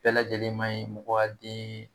Bɛɛ lajɛlen ma ɲi mɔgɔ ya den